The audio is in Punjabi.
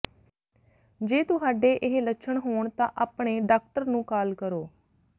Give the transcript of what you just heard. ਜੇ ਤੁਹਾਡੇ ਇਹ ਲੱਛਣ ਹੋਣ ਤਾਂ ਆਪਣੇ ਡਾਕਟਰ ਨੂੰ ਕਾਲ ਕਰੋ